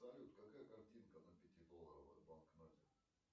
салют какая картинка на пятидолларовой банкноте